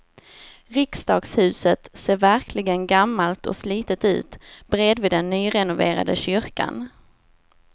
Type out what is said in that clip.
Riksdagshuset ser verkligen gammalt och slitet ut bredvid den nyrenoverade kyrkan.